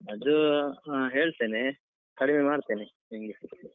ಅದು ಹಾ ಹೇಳ್ತೇನೆ ಕಡಿಮೆ ಮಾಡ್ತೇನೆ ನಿನ್ಗೆ.